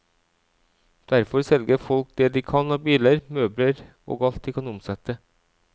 Derfor selger folk det de kan av biler, møbler og alt de kan omsette.